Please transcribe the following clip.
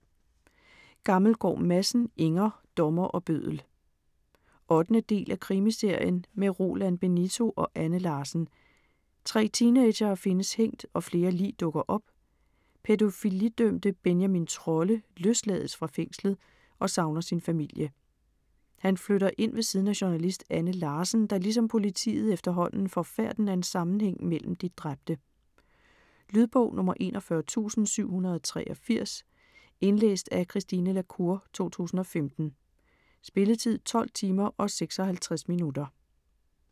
Gammelgaard Madsen, Inger: Dommer og bøddel 8. del af Krimiserien med Roland Benito og Anne Larsen. 3 teenagere findes hængt og flere lig dukker op. Pædofilidømte Benjamin Trolle løslades fra fængslet og savner sin familie. Han flytter ind ved siden af journalist Anne Larsen, der ligesom politiet efterhånden får færten af en sammenhæng mellem de dræbte. Lydbog 41783 Indlæst af Christine la Cour, 2015. Spilletid: 12 timer, 56 minutter.